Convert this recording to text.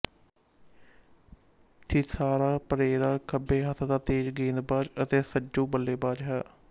ਥਿਸਾਰਾ ਪਰੇਰਾ ਖੱਬੇ ਹੱਥ ਦਾ ਤੇਜ ਗੇਂਦਬਾਜ ਅਤੇ ਸੱਜੂ ਬੱਲੇਬਾਜ ਹੈ